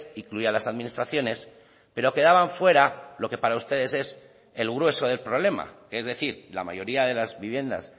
incluía a las administraciones pero quedaban fuera lo que para ustedes es el grueso del problema que es decir la mayoría de las viviendas